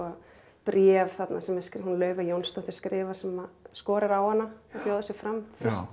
bréf þarna sem Laufey Jónsdóttir skrifar sem skorar á hana að bjóða sig fram